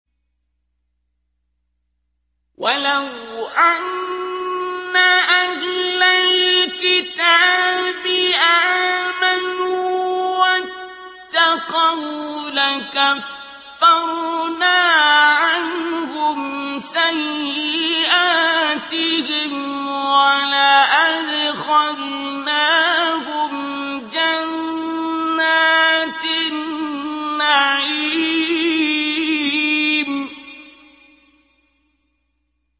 وَلَوْ أَنَّ أَهْلَ الْكِتَابِ آمَنُوا وَاتَّقَوْا لَكَفَّرْنَا عَنْهُمْ سَيِّئَاتِهِمْ وَلَأَدْخَلْنَاهُمْ جَنَّاتِ النَّعِيمِ